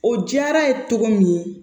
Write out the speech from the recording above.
O diyara ye cogo min